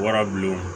Warabilenw